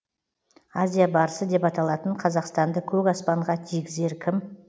азия барысы деп аталатын қазақстанды көк аспанға тигізер кім